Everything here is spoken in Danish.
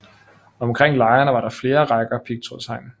Omkring lejrene var der flere rækker pigtrådshegn